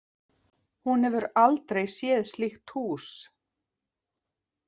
Hún hefur aldrei séð slíkt hús.